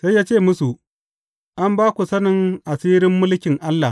Sai ya ce musu, An ba ku sanin asirin mulkin Allah.